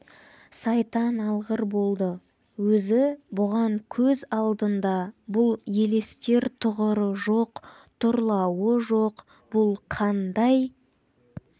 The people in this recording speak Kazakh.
сайтан алғыр болды өзі бұған көз алдында бұл елестер тұғыры жоқ тұрлауы жоқ бұл қандай